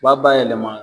U b'a bayɛlɛma